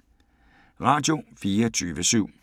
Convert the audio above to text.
Radio24syv